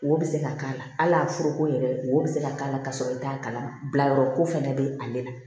Wo bɛ se ka k'a la hali foroko yɛrɛ wo bɛ se ka k'a la ka sɔrɔ i t'a kalama bila yɔrɔ ko fɛnɛ be ale la